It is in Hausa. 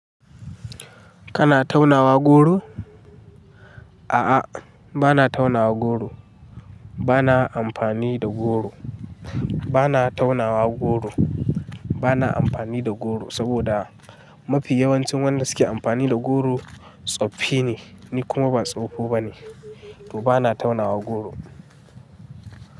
Kana taunawa goro? A'a, bana taunawa goro. Bana amfani da goro. Bana taunawa goro. Bana amfani da goro saboda mafi yawancin wanda suke amfani da goro tsoffi ne, ni kuma ba tsoho bane. To bana taunawa goro.